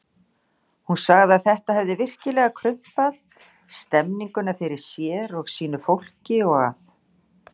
Hún sagði að þetta hefði virkilega krumpað stemmninguna fyrir sér og sínu fólki og að